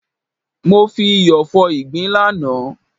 Mo fi iyọ̀ fọ ìgbín lánàá.